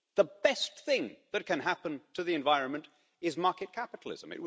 The best thing that can happen to the environment is market capitalism.